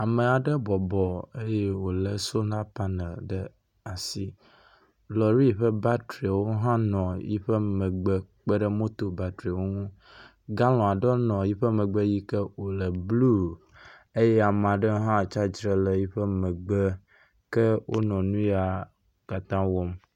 Ame aɖe bɔbɔ eye wòlé sola paneli ɖe asi. Lɔri ƒe batriawo hã nɔ eƒe megbe kpe ɖe moto batriawo ŋu. Galɔni aɖe nɔ eƒe megbe yi ke wònɔ blu eye ame aɖe hã tsi atsitre ɖe eƒe megbe ke wonɔ nu ya wo katã wɔm.